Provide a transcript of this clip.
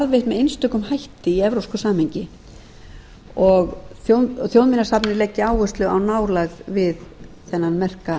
með einstökum hætti í evrópsku samhengi þjóðminjasafnið muni leggja áherslu á nálægðina við þennan merka